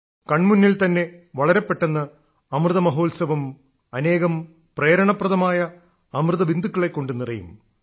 കൺമുന്നിൽ തന്നെ വളരെ പെട്ടെന്ന് അമൃതമഹോത്സവം അനേകം പ്രേരണപ്രദമായ അമൃതബിന്ദുക്കളെക്കൊണ്ട് നിറയും